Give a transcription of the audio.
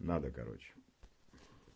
надо короче